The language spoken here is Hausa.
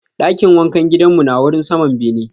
Dakin wankan gidan mu na wurin saman bene.